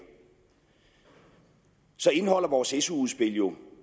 så indeholder vores su udspil jo